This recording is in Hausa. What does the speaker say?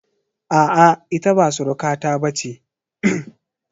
A'a, ita ba surukata ba ce.